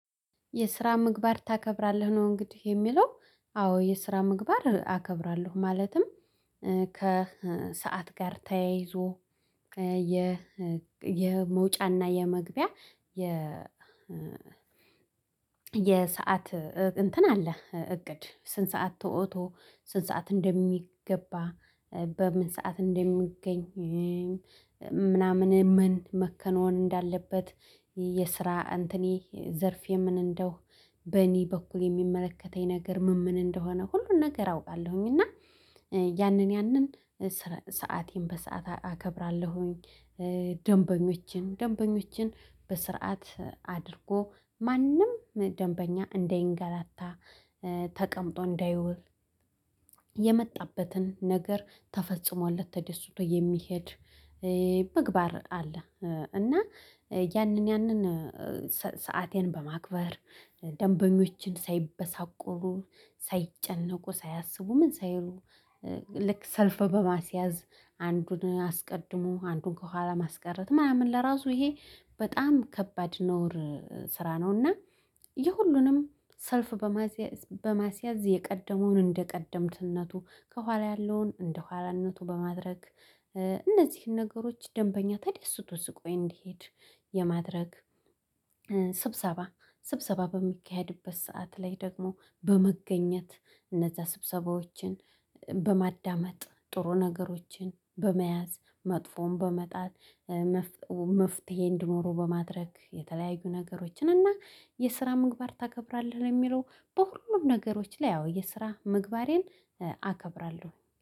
የስራ ምግባር ታከብራለህ ነው እንግዲህ የሚለው? አዎ የስራ ምግባር አከብራለሁ ማለትም። ከሰአት ጋር ተያይዞ የመውጫና የመግቢያ የሰዓት እንትን አለ። እቅድ ስንት ሰዓት ተወጥቶ ስንት ሰዓት እንደሚገባ። በምን ሰዓት እንደሚገኝ ምን መከናወን እንዳለበት። የስራ እንትኔ ዘርፌ ምን በኔ በኩል የሚመለከተኝ ነገር ምን ምን እንደሆነ ሁሉን ነገር አውቃለሁኝ እና ያንን ያንን ሰአቴን በሰአት አከብራለሁኝ። ደንበኞችን ደንበኞችን በስርዓት አድርጎ ማንም ደንበኛ እንዳይገላታ ተቀምጦ እንዳይውል የመጣበትን ነገር ተፈጽሞለት ተደስቶ የሚሄድ ምግባር አለ። እና ያንን ያንን ሰአቴን በማክበር ደንበኞችን ሳይበሳቆሉ ሳይጨነቁ ሳያስቡ ምን ሳይሉ ልክ ሰልፍ በማስያዝ አንዱን አስቀድሞ አንዱን ከኋላ ማስቀረት ምናምን ለራሱ ይሄ በጣም ከባድ ነውር። ስራ ነውና የሁሉንም ሰልፍ በማስያዝ የቀደመውን እንደቀደምትነቱ ከኋላ ያለውን እንደኋላነቱ በማድረግ እነዚህን ነገሮች ደንበኛ ተደስቶ ስቆ እንዲሄድ የማድረግ። ስብሰባ ስብሰባ በሚካሄድበት ሰዓት ላይ ደግሞ በመገኘት እነዛ ስብሰባዎችን በማዳመጥ ጥሩ ነገሮችን በመያዝ መጥፎን በመጣል። መፍትሄ እንዲኖረው በማድረግ የተለያዩ ነገሮችን እና የስራ ምግባር ታከብራለህ የሚለው? በሁሉም ነገሮች ላይ አዎ የስራ ምግባሬን አከብራለሁ